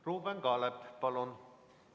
Ruuben Kaalep, palun!